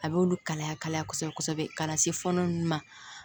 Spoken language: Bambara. A bɛ olu kalaya kalaya kosɛbɛ kosɛbɛ ka na se fɔnɔ ninnu ma